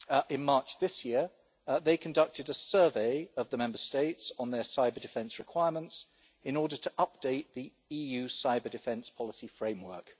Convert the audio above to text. In March this year, they conducted a survey of the Member States on their cyber-defence requirements in order to update the EU cyber-defence policy framework.